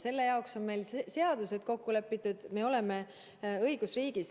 Selle jaoks on meil seadused olemas, me elame õigusriigis.